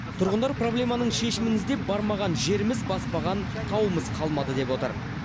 тұрғындар проблеманың шешімін іздеп бармаған жеріміз баспаған тауымыз қалмады деп отыр